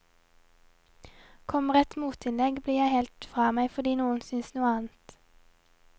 Kommer et motinnlegg blir jeg helt fra meg fordi noen synes noe annet.